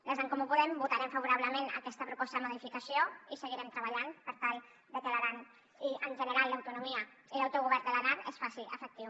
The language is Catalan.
des d’en comú podem votarem favorablement aquesta proposta de modificació i seguirem treballant per tal de que l’aran i en general l’autonomia i l’autogovern de l’aran es facin efectius